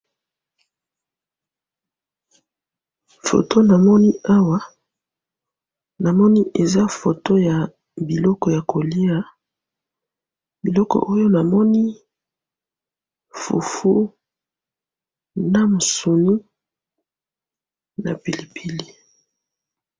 photo namoni namoni eza photo ya biloko ya kolya biloko oyo namoni fufu na musuni na pilipili